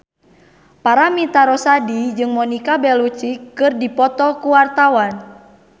Paramitha Rusady jeung Monica Belluci keur dipoto ku wartawan